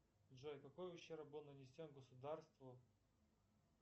джой какой ущерб был нанесен государству